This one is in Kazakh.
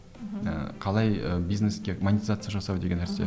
ыыы қалай ы бизнеске монизация жасау деген нәрсе